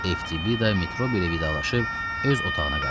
Eftibida Metrobi ilə vidalaşıb öz otağına qayıtdı.